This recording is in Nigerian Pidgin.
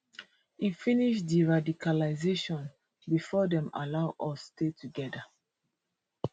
e finish deradicalisation bifor dem allow us stay togeda